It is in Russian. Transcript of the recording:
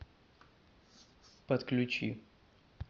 подключи